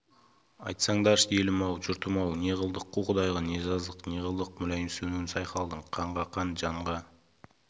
айтсаңдаршы елім-ау жұртым-ау не қылдық қу құдайға не жаздық не қылдық мүләйімсуін сайқалдың қанға қан жанға